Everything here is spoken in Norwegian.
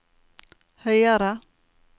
høyere